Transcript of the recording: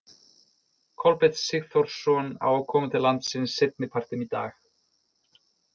Kolbeinn Sigþórsson á að koma til landsins seinni partinn í dag.